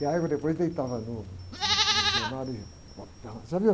E a égua depois deitava no, no, no gramado e balançando...